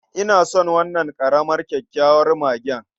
Ina son wannan ƙaramar kyakkyawar mage.